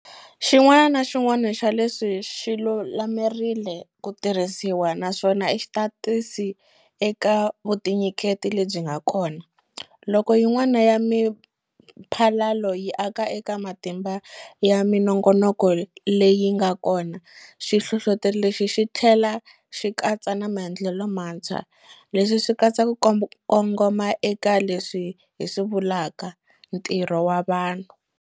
Xin'wana na xin'wana xa leswi xi lulamerile ku tirhisiwa, naswona i xitatisi eka vutinyiketi lebyi nga kona. Loko yin'wana ya miphalalo yi aka eka matimba ya minongonoko leyi nga kona, xi hlohloteri lexi xi tlhela xi katsa na maendlelo mantshwa. Leswi swi katsa ku kongoma eka leswi hi swi vulaka 'ntirho wa vanhu'.